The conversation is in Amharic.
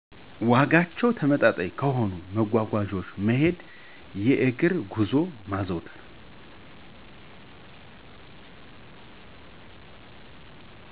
ዋጋቸው ተመጣጣኝ ከሆኑት መጓጓዣወች መሄድ የእግር ጉዞወችን ማዘውተር